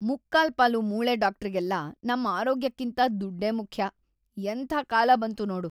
ಮುಕ್ಕಾಲ್ಪಾಲು ಮೂಳೆ ಡಾಕ್ಟ್ರಿಗೆಲ್ಲ ನಮ್ ಆರೋಗ್ಯಕ್ಕಿಂತ ದುಡ್ಡೇ ಮುಖ್ಯ, ಎಂಥ ಕಾಲ ಬಂತು ನೋಡು.